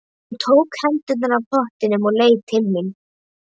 Hún tók hendurnar af pottunum og leit til mín.